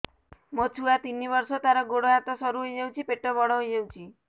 ମୋ ଛୁଆ ତିନି ବର୍ଷ ତାର ଗୋଡ ହାତ ସରୁ ହୋଇଯାଉଛି ପେଟ ବଡ ହୋଇ ଯାଉଛି